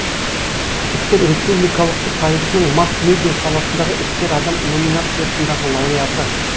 іскер республикалық сайысының масс медиа саласындағы іскер адам номинациясындағы лауреаты